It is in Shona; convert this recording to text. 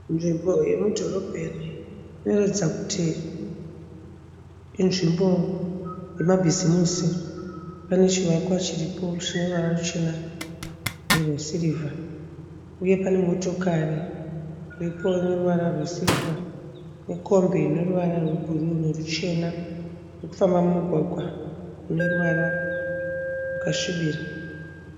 Nzvimbo yomudhorobheni inoratidza kuti inzvimbo yamabhizimusi. Pane chivakwa chiripo chine ruvara ruchena nerwesirivha, uye pane motokari iripo ine ruvara rwesirivha nekombi ine ruvara rwebhuruu noruchena iri kufamba mumugwagwa une ruvara rwakasvibira.